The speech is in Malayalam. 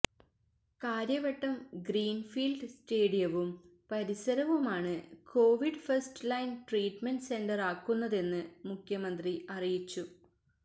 കാര്യവട്ടം ഗ്രീന് ഫീല്ഡ് സ്റ്റേഡിയവും പരിസരവുമാണ് കോവിഡ് ഫസ്റ്റ് ലൈന് ട്രീറ്റ്മെന്റ് സെന്ററാക്കുന്നതെന്ന് മുഖ്യമന്ത്രി അറിയിച്ചു